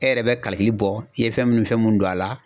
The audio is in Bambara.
E yɛrɛ bɛ kalikili bɔ i ye fɛn munnu fɛn munnu don a la.